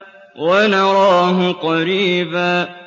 وَنَرَاهُ قَرِيبًا